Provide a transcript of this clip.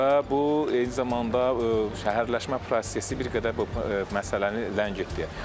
Və bu eyni zamanda şəhərləşmə prosesi bir qədər bu məsələni ləngitdi.